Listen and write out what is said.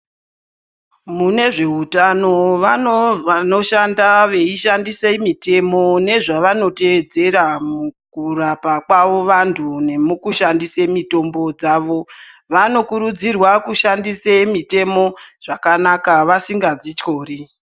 Mune zveutano muno vanoshanda veishandise mitemo nezvavanotedzera mukurapa kwavo vantu nemukushandise mitombo dzavo. Vanokurudzirwa kushandise mitemo zvakanaka vasingadzityori.